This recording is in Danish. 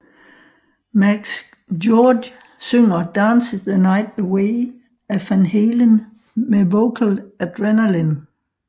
Max Georde synger Dance the Night Away af Van Halen med Vocal Adrenaline